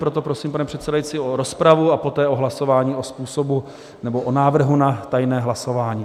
Proto prosím, pane předsedající, o rozpravu a poté o hlasování o způsobu nebo o návrhu na tajné hlasování.